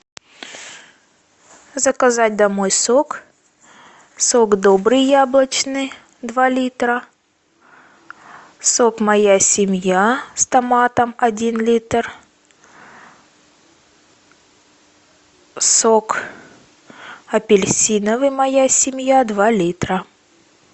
заказать домой сок сок добрый яблочный два литра сок моя семья с томатом один литр сок апельсиновый моя семья два литра